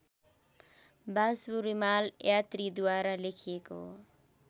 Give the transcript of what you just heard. वासु रिमाल यात्रीद्वारा लेखिएको